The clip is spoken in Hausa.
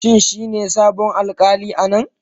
Shin shi ne sabon alƙali a nan?